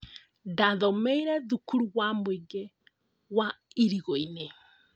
Ndathomeire thukuru wa mũingĩ wa irigu-inĩ